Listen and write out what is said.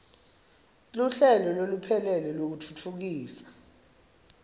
luhlelo loluphelele lwekutfutfukisa